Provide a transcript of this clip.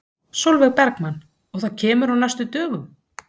Sólveig Bergmann: Og það kemur á næstu dögum?